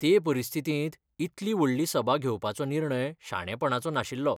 ते परिस्थितींत इतली व्हडली सभा घेवपाचो निर्णय शाणेपणाचो नाशिल्लो.